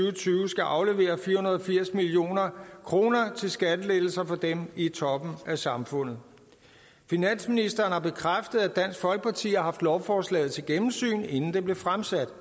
og tyve skal aflevere fire hundrede og firs million kroner til skattelettelser for dem i toppen af samfundet finansministeren har bekræftet at dansk folkeparti har haft lovforslaget til gennemsyn inden det blev fremsat